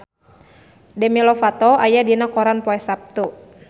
Demi Lovato aya dina koran poe Saptu